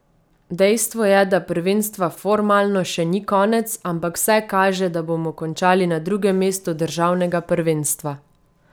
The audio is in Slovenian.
Dejstvo je, da prvenstva formalno še ni konec, ampak vse kaže, da bomo končali na drugem mestu državnega prvenstva.